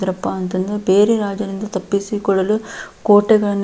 ದ್ರಪ್ಪಾ ಅಂತಂದ್ರೆ ಬೇರೆ ರಾಜರಿಂದ ತಪ್ಪಿಸಿ ಕೊಳ್ಳಲು ಕೋಟೆಗಳನ್ನು--